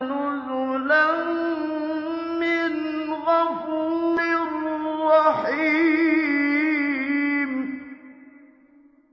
نُزُلًا مِّنْ غَفُورٍ رَّحِيمٍ